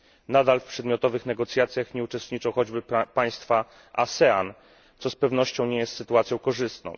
Nadal w przedmiotowych negocjacjach nie uczestniczą choćby państwa ASEAN, co z pewnością nie jest sytuacją korzystną.